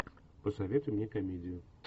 посоветуй мне комедию